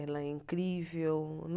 Ela é incrível.